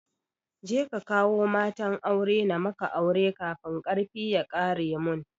Kaje ka kawo matan aure na maka aure kafin karfi ya ƙare mun